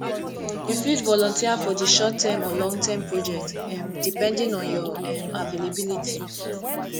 you fit volunteer for di shortterm or longterm project um depending on your um availability